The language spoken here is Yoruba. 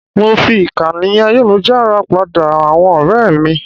Mo fi ìkànnì ayélujára pàdé àwọn ọ̀rẹ́ mi.